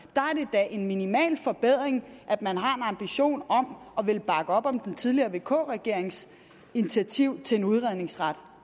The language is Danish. da en minimal forbedring at man har en ambition om at ville bakke op om den tidligere vk regerings initiativ til en udredningsret